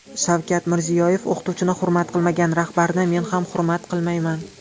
Shavkat Mirziyoyev: O‘qituvchini hurmat qilmagan rahbarni men hurmat qilmayman.